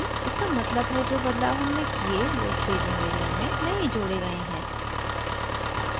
इसका मतलब है जो बदलाव हमने किये वो staging area में नहीं जोड़े गए हैं